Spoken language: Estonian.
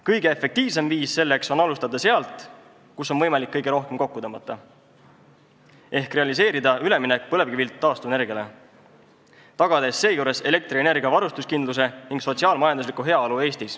Kõige efektiivsem viis selleks on alustada sealt, kus on võimalik kõige rohkem kokku tõmmata, ehk realiseerida üleminek põlevkivilt taastuvenergiale, tagades seejuures Eestis elektrienergia varustuskindluse ning sotsiaal-majandusliku heaolu.